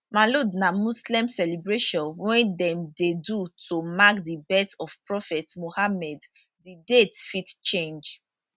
maulud na muslim celebration wey dem dey do to mark di birth of prophet muhammed di date fit change